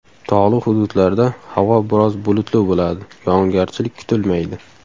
Tog‘li hududlarda havo biroz bulutli bo‘ladi, yog‘ingarchilik kutilmaydi.